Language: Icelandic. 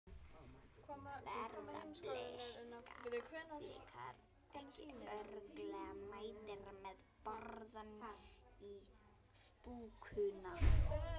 Verða Blikar ekki örugglega mættir með borðann í stúkuna?